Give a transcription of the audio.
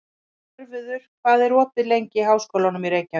Svörfuður, hvað er opið lengi í Háskólanum í Reykjavík?